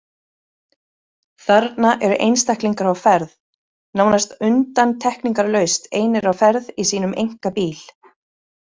Þarna eru einstaklingar á ferð, nánast undantekningarlaust einir á ferð í sínum einkabíl.